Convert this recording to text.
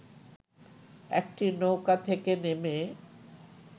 একটি নৌকা থেকে নেমে